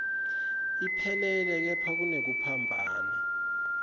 iphelele kepha kunekuphambana